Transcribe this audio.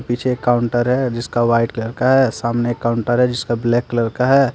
पीछे एक काउंटर है जिसका व्हाइट कलर का है सामने काउंटर है जिसका ब्लैक कलर का है।